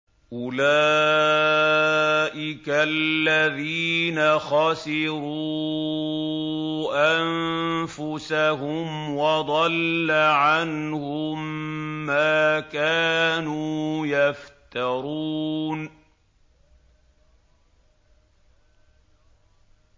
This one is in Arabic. أُولَٰئِكَ الَّذِينَ خَسِرُوا أَنفُسَهُمْ وَضَلَّ عَنْهُم مَّا كَانُوا يَفْتَرُونَ